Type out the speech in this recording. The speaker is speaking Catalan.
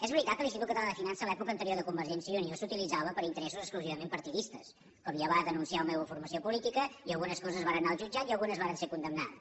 és veritat que l’institut català de finances a l’època anterior de convergència i unió s’utilitzava per a interessos exclusivament partidistes com ja va denunciar la meva formació política i algunes coses varen anar al jutjat i algunes varen ser condemnades